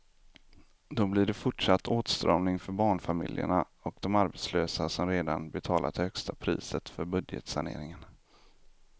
Då blir det fortsatt åtstramning för barnfamiljerna och de arbetslösa som redan betalat det högsta priset för budgetsaneringen.